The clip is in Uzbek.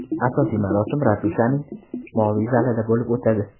Asosiy marosim ratushaning moviy zalida bo‘lib o‘tadi.